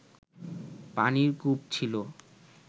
পানির কূপ ছিল